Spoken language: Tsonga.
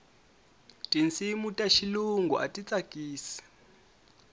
tinsimu ta xilungu a ti tsakisi